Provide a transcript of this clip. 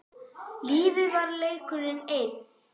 Lífið var leikur einn.